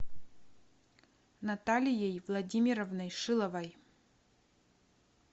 наталией владимировной шиловой